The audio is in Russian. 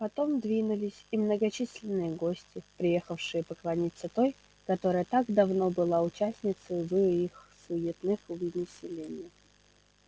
потом двинулись и многочисленные гости приехавшие поклониться той которая так давно была участницею в их суетных увеселениях